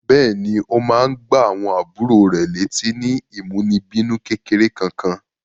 Bẹ́ẹ̀ní, ó máa ń gbá àwọn àbúrò rẹ̀ létí ní ìmúnibínú kékeré Kankan.